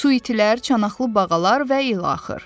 Su itilər, çanaqlı bağalar və ilaxır.